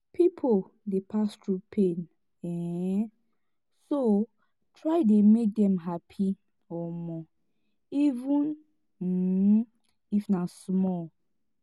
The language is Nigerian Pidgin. pipo dey pass thru pain um so try dey mek dem hapi um even um if na small